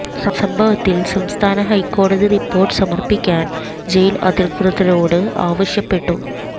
സംഭവത്തിൽ സംസ്ഥാന ഹൈക്കോടതി റിപ്പോർട്ട് സമർപ്പിക്കാൻ ജയിൽ അധികൃതരോട് ആവശ്യപ്പെട്ടു